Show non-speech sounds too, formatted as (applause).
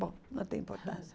Bom, não tem importância (laughs)